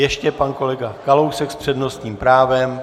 Ještě pan kolega Kalousek s přednostním právem.